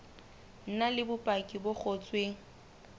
na le bopaki bo ngotsweng